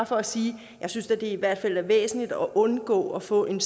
for at sige at jeg synes det i hvert fald er væsentligt at undgå at få en